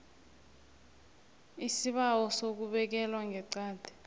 isibawo sokubekelwa ngeqadi